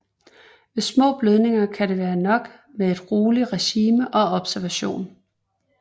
Ved små blødninger kan det være nok med et roligt regime og observation